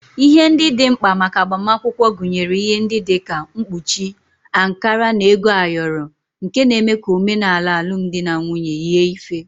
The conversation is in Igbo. Ihe ndị dị mkpa maka agbamakwụkwọ gụnyere ihe ndị dị ka mkpuchi, ankara na ego ayọrọ nke na-eme ka omenala alụmdi na nwunye yie ife